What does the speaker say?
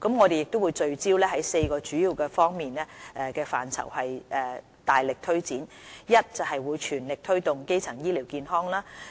我們會聚焦4個主要方向範疇，大力推展：第一，全力推動基層醫療健康；